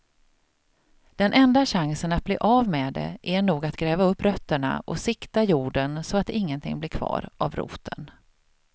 Den enda chansen att bli av med det är nog att gräva upp rötterna och sikta jorden så att ingenting blir kvar av roten.